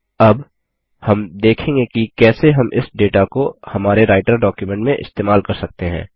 अब हम देखेंगे कि कैसे हम इस डेटा को हमारे राइटर डॉक्युमेंट में इस्तेमाल कर सकते हैं